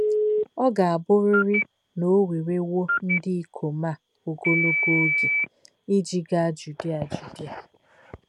Ọ ga-abụrịrị na o werewo ndị ikom a ogologo oge iji gaa Judia Judia.